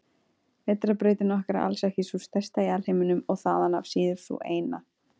Vetrarbrautin okkar er alls ekki sú stærsta í alheiminum og þaðan af síður sú eina.